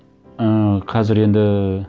ііі қазір енді